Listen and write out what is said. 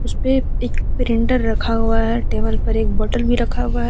उसपे एक प्रिंटर रखा हुआ है टेबल पर एक बॉटल भी रखा हुआ है।